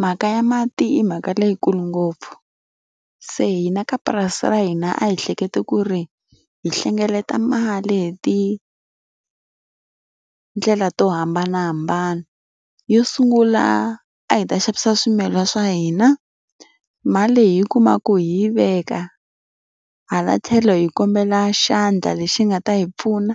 Mhaka ya mati i mhaka leyikulu ngopfu. Se hina ka purasi ra hina a hi hleketa ku ri hi hlengeleta mali hi tindlela to hambanahambana. Yo sungula a hi ta xavisa swimila swa hina, mali leyi hi yi kumaku hi yi veka. Hala tlhelo hi kombela xandla lexi nga ta hi pfuna,